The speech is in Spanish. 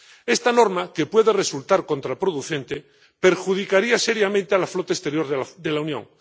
Esta norma, que puede resultar contraproducente, perjudicaría seriamente a la flota exterior de la Unión.